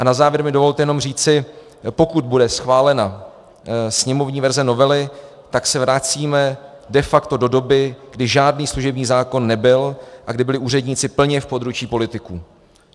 A na závěr mi dovolte jenom říci, pokud bude schválena sněmovní verze novely, tak se vracíme de facto do doby, kdy žádný služební zákon nebyl a kdy byli úředníci plně v područí politiků.